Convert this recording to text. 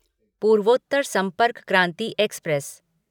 पूर्वोत्तर संपर्क क्रांति एक्सप्रेस